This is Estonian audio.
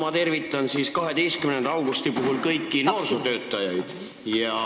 Mina tervitan siis 12. augusti puhul kõiki noorsootöötajaid.